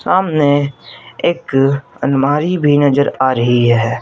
सामने एक अलमारी भी नजर आ रही है।